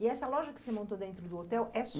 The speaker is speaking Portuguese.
E essa loja que você montou dentro do hotel é